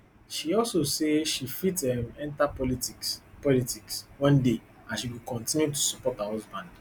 she also say dhe fit um enta politics politics one day as she go kontinu to support her husband